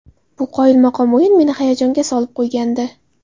Bu qoyilmaqom o‘yin meni hayajonga solib qo‘ygandi.